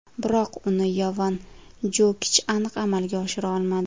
Biroq uni Yovan Jokich aniq amalga oshira olmadi.